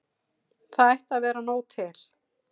Það ætti að vera nóg til.